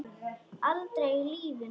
Aldrei í lífinu!